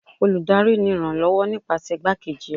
olùdarí ni iranlọwọ nipasẹ igbakejí rẹ